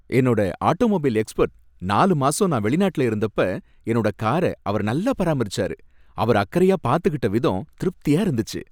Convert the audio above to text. என்னோட automobile expert நாலு மாசம் நான் வெளிநாட்டுல இருந்தப்ப என்னோட காரை அவர் நல்லா பராமரிச்சாரு, அவரு அக்கறையா பாதுகிட்டவிதம் திருப்தியா இருந்துச்சு.